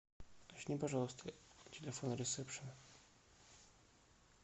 уточни пожалуйста телефон ресепшена